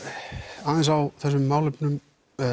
aðeins á þessum málefnum